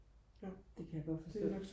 det kan jeg godt forstå